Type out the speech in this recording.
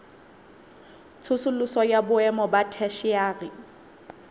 tsosoloso ya boemo ba theshiari